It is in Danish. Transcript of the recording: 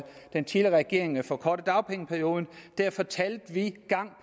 den tidligere regering forkortede dagpengeperioden fortalte vi gang